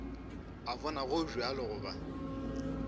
a bona go bjalo goba